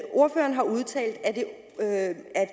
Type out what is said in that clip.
ordføreren har udtalt at